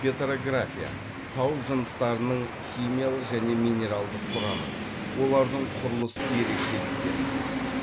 петрография тау жыныстарының химиялық және минералдық құрамын олардың құрылыс ерекшеліктерін зерттейді